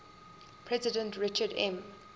president richard m